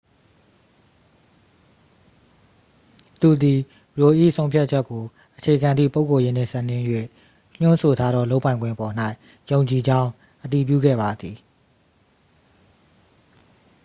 သူသည် roe ၏ဆုံးဖြတ်ချက်ကိုအခြေခံသည့် ပုဂ္ဂိုလ်ရေးနှင့်စပ်လျဉ်း၍ ညွှန်းဆိုထားသောလုပ်ပိုင်ခွင့်ပေါ်၌ ယုံကြည်ကြောင်း အတည်ပြုခဲ့ပါသည်